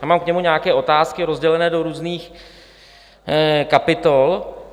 Já mám k němu nějaké otázky rozdělené do různých kapitol.